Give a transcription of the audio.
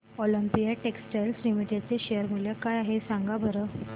Olympia textiles limited चे share मूल्य काय आहे सांगा बरं